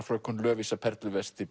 fröken Lovísa